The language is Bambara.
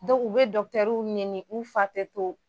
u bɛ dɔkitɛriw nɛni u fa tɛ to.